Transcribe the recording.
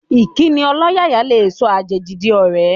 Ìkíni ọlọ́yàyà lè sọ àjèjì di ọ̀rẹ́